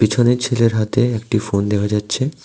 পিছনের ছেলের হাতে একটি ফোন দেখা যাচ্ছে।